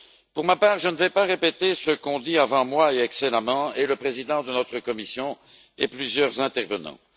Pour ma part, je ne vais pas répéter ce qu'ont dit avant moi, et excellemment, le président de notre commission et plusieurs intervenants.